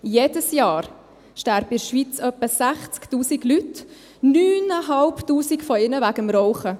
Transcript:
Jedes Jahr sterben in der Schweiz etwa 60’000 Leute, 9500 von ihnen wegen des Rauchens.